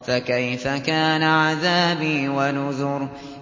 فَكَيْفَ كَانَ عَذَابِي وَنُذُرِ